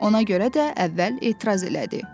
Ona görə də əvvəl etiraz elədi.